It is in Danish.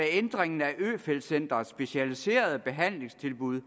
ændring at øfeldt centrets specialiserede behandlingstilbud